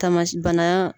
Tamasi bana